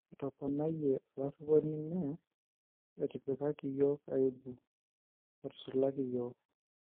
Etoponayie olariponi mee ; etipkaki yiok aibu, etusulaki yiok.